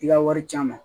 I ka wari can ma